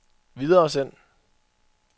videresend